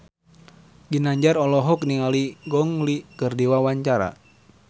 Ginanjar olohok ningali Gong Li keur diwawancara